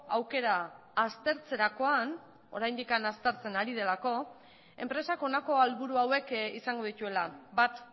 aukera aztertzerakoan oraindik aztertzen ari delako enpresak honako helburu hauek izango dituela bat